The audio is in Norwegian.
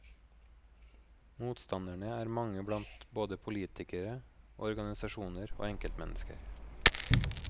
Motstanderne er mange blant både politikere, organisasjoner og enkeltmennesker.